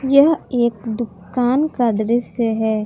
यह एक दुकान का दृश्य है।